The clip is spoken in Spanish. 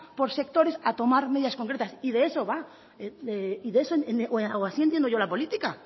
por sectores a tomar medidas concretas y de eso va o así entiendo yo la política